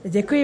Děkuji.